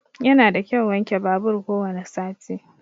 Yana da kyau wanke babur ko wani sati.